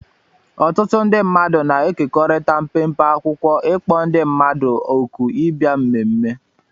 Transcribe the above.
Ọtụtụ ndị mmadụ na-ekekọrịta mpempe akwụkwọ ịkpọ ndị mmadụ òkù ịbịa mmemme